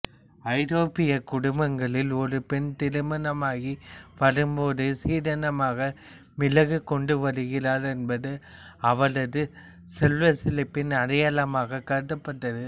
ஐரோப்பியக் குடும்பங்களில் ஒரு பெண் திருமணமாகி வரும்போது சீதனமாக மிளகு கொண்டுவருகிறாள் என்பது அவளது செல்வச் செழிப்பின் அடையாளமாகக் கருதப்பட்டது